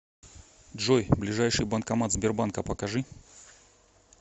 джой ближайший банкомат сбербанка покажи